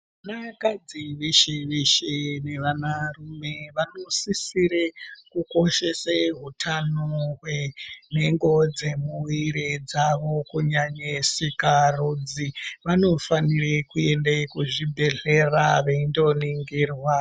Vakadzi veshe-veshe nevanarume vanosisira kukoshese utano hwenhengo dzemwiri dzawo kunyanya sikarudzi. Vanofanirwe kuende kuzvibhedhlera veindoningirwa.